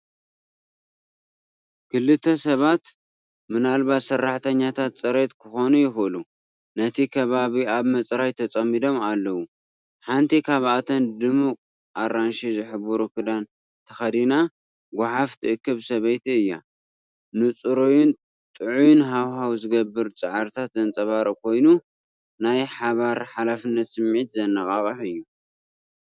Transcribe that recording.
ክልተ ሰባት፡ ምናልባት ሰራሕተኛታት ጽሬት ክኾኑ ይኽእሉ፡ ነቲ ከባቢ ኣብ ምጽራይ ተጸሚዶም ኣለዉ። ሓንቲ ካብኣተን ድሙቕ ኣራንሺ ዝሕብሩ ክዳን ተኸዲና ጓሓፍ ትእክብ ሰበይቲ እያ። ንጽሩይን ጥዑይን ሃዋህው ዝግበር ጻዕርታት ዘንጸባርቕ ኮይኑ፡ናይ ሓባር ሓላፍነት ስምዒት ዘነቓቕሕ እዩ!